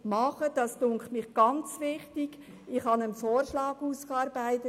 Ich habe in Zusammenarbeit mit Fachleuten einen Vorschlag ausgearbeitet.